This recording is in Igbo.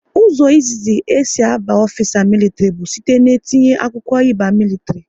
Ụzọ izizi e si abụ ofisa militri bụ site n'etinye akwụkwọ ị ba militri